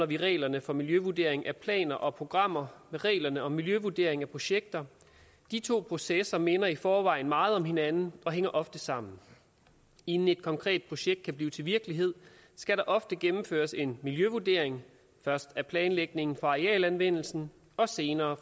vi reglerne for miljøvurdering af planer og programmer med reglerne om miljøvurdering af projekter de to processer minder i forvejen meget om hinanden og hænger ofte sammen inden et konkret projekt kan blive til virkelighed skal der ofte gennemføres en miljøvurdering først af planlægningen af arealanvendelsen og senere af